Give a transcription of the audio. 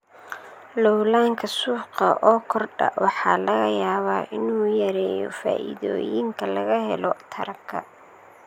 Loolanka suuqa oo kordha waxaa laga yaabaa inuu yareeyo faa'iidooyinka laga helo taranka.